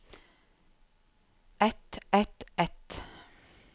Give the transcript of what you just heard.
et et et